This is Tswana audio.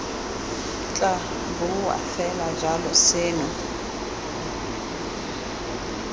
tla boa fela jalo seno